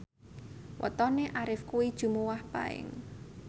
wetone Arif kuwi Jumuwah Paing